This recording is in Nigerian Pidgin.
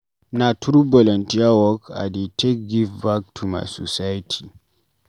Na through volunteer work I dey take give back to my society.